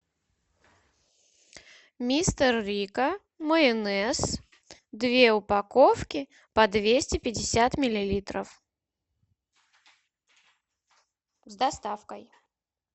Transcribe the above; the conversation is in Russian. мистер рикко майонез две упаковки по двести пятьдесят миллилитров с доставкой